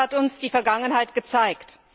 Das hat uns die Vergangenheit gezeigt.